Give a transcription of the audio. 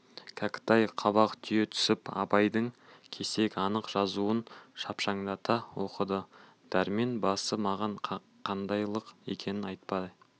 кәкітай қабақ түйе түсіп абайдың кесек анық жазуын шапшаңдата оқыды дәрмен басы маған қандайлық екенін айтпай